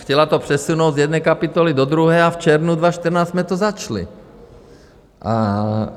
Chtěla to přesunout z jedné kapitoly do druhé a v červnu 2014 jsme to začali.